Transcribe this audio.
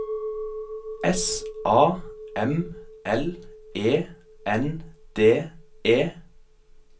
S A M L E N D E